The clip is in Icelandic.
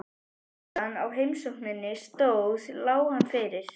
Meðan á heimsókninni stóð lá hann fyrir.